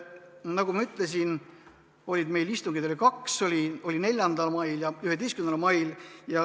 Nagu ma ütlesin, oli meil istungeid kaks: 4. mail ja 11. mail.